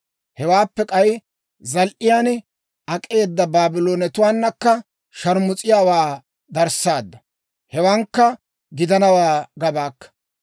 Hewaappe k'ay, zal"iyaan ak'eeda Baabloonetuwaanakka sharmus'iyaawaa darssaadda; hewankka gidanawaa gabaakka.